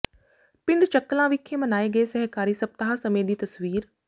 ਪਿੰਡ ਚੱਕਲਾਂ ਵਿਖੇ ਮਨਾਏ ਗਏ ਸਹਿਕਾਰੀ ਸਪਤਾਹ ਸਮੇਂ ਦੀ ਤਸਵੀਰ